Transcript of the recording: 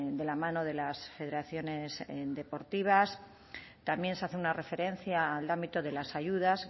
de la mano de las federaciones deportivas también se hace una referencia al ámbito de las ayudas